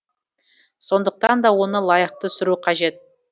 сонықтан да оны лайықты сүру қажет